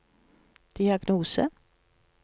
diagnose